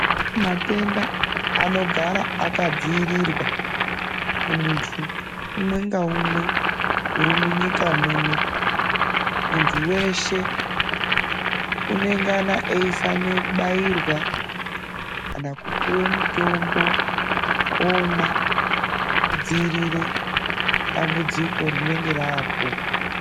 Matenda anogara akadziirirwa kumuntu umwe ngaumwe uri munyika muno. Muntu weshe unengana eifanire kubairwa kana kupuwe mutombo omwa kudziirire dambudziko rinenge raapo.